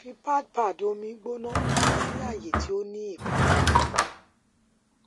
fi pad pad omi gbona si aaye ti o ni ipalara